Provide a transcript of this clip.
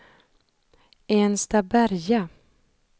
Enstaberga